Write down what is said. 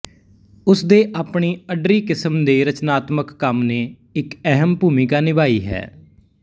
ਉਸ ਦੇ ਆਪਣੀ ਅੱਡਰੀ ਕਿਸਮ ਦੇ ਰਚਨਾਤਮਿਕ ਕੰਮ ਨੇ ਇੱਕ ਅਹਿਮ ਭੂਮਿਕਾ ਨਿਭਾਈ ਹੈ